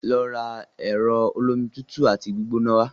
Lọ ra ẹ̀rọ olómi tutù àti gbígbóná wá!